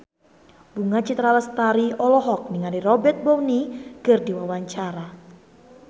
Bunga Citra Lestari olohok ningali Robert Downey keur diwawancara